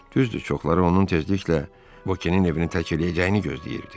Düzdür, çoxları onun tezliklə Vokenin evini tərk edəcəyini gözləyirdi.